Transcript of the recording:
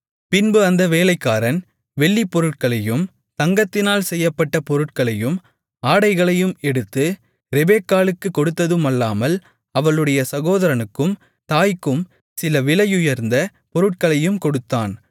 பின்பு அந்த வேலைக்காரன் வெள்ளிப் பொருட்களையும் தங்கத்தினால் செய்யப்பட்ட பொருட்களையும் ஆடைகளையும் எடுத்து ரெபெக்காளுக்குக் கொடுத்ததுமல்லாமல் அவளுடைய சகோதரனுக்கும் தாய்க்கும் சில விலையுயர்ந்த பொருட்களையும் கொடுத்தான்